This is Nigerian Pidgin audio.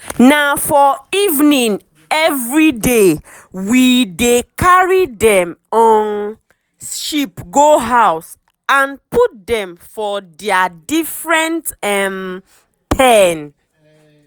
na for evening everydaywe um dey carry dem um sheep go house and put dem for dia different um pen.